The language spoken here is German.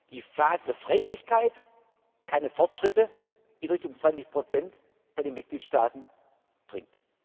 Jahren die Phase der Freiwilligkeit keine Fortschritte in Richtung 20 bei den Mitgliedstaaten